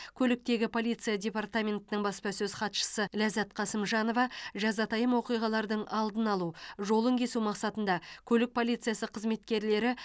көліктегі полиция департаментінің баспасөз хатшысы ләззат қасымжанова жазатайым оқиғалардың алдын алу жолын кесу мақсатында көлік полициясы қызметкерлері